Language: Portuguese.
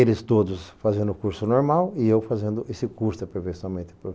Eles todos fazendo o curso normal e eu fazendo esse curso de aperfeiçoamento.